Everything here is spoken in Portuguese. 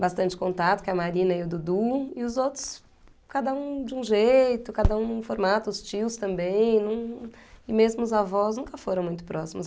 bastante contato, que é a Marina e o Dudu, e os outros, cada um de um jeito, cada um no formato, os tios também, hm, e mesmo os avós nunca foram muito próximos.